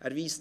[…].»